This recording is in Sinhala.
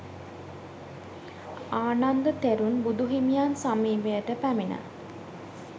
ආනන්ද තෙරුන් බුදු හිමියන් සමීපයට පැමිණ